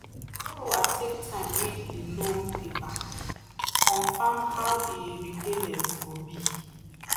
the borrower take time read the loan paper to confirm how the repayment go be.